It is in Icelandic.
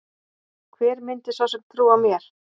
Hver myndi svo sem trúa mér?